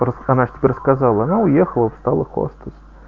просто она же тебе рассказала она уехала стала хвастаться